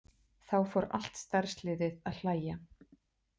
Þá fór allt starfsliðið að hlæja.